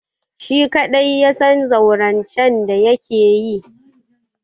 Shi kaɗai ya san zaurancen da yake yi.